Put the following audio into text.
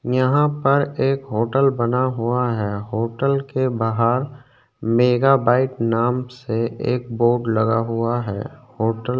यहाँ पर एक होटल बना हुआ है होटल के बाहर मेगा बाइट नाम से एक बोर्ड लगा हुआ है होटल --